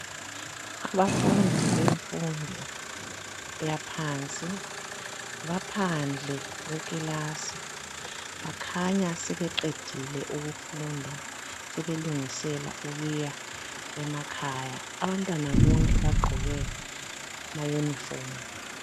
Abafundi bemfundo eyaphansi baphandle kwekilasi. Bakhanya sebeqedile ukufunda sebelungisela ukuya emakhaya. Abantwana bonke bagqoke amayunifomu.